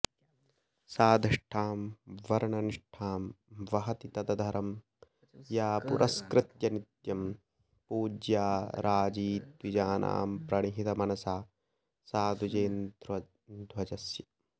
साधिष्ठां वर्णनिष्ठां वहति तदधरं या पुरस्कृत्य नित्यं पूज्या राजी द्विजानां प्रणिहितमनसा सा द्विजेन्द्रध्वजस्य